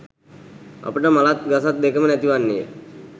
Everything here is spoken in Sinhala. අපට මලත් ගසත් දෙකම නැති වන්නේය.